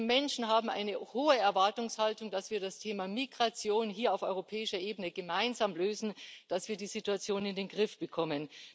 Die Menschen haben eine hohe Erwartungshaltung, dass wir das Thema Migration hier auf europäischer Ebene gemeinsam lösen, dass wir die Situation in den Griff bekommen.